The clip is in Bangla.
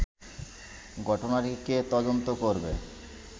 ঘটনাটি কে তদন্ত করবে